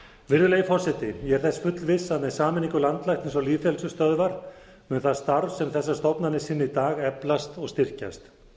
virðulegi forseti ég er þess fullviss að með sameiningu landlæknis og lýðheilsustöðvar mun það starf sem þessar stofnanir sinna í dag eflast og styrkjast